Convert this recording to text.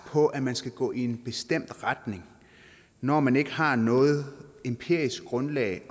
på at man skal gå i en bestemt retning når man ikke har noget empirisk grundlag